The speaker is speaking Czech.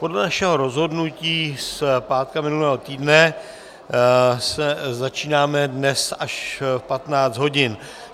Podle našeho rozhodnutí z pátku minulého týdne začínáme dnes až v 15 hodin.